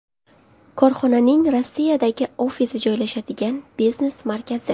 Korxonaning Rossiyadagi ofisi joylashadigan biznes markazi.